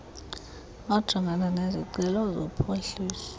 ojongana nezicelo zophuhliso